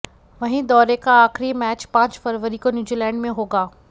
वहीं दौरे का आखिरी मैच पांच फरवरी को न्यूजीलैंड से होगा